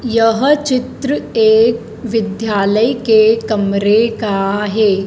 यह चित्र एक विद्यालय के कमरे का है।